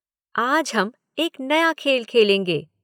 आज हम एक नया खेल खलेंगे।